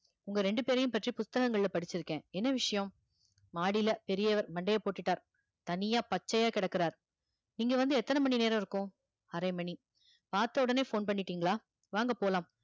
உங்க ரெண்டு பேரையும் பற்றி புத்தகங்கள்ல படிச்சிருக்கேன் என்ன விஷயம், மாடியில பெரியவர் மண்டையை போட்டுட்டார், தனியா பச்சையா கிடக்கிறார், நீங்க வந்து எத்தனை மணி நேரம் இருக்கும், அரை மணி, பார்த்தவுடனே phone பண்ணிட்டீங்களா வாங்க போலாம்